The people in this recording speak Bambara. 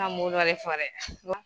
fɔ dɛ